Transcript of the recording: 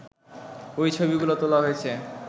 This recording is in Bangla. ওই ছবিগুলো তোলা হয়েছে